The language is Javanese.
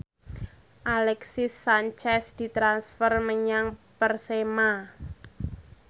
Alexis Sanchez ditransfer menyang Persema